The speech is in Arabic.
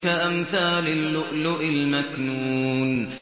كَأَمْثَالِ اللُّؤْلُؤِ الْمَكْنُونِ